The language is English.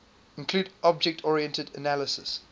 include object oriented analysis